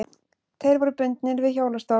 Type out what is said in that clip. Tveir voru bundnir við hjólastól.